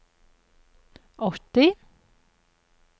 åtti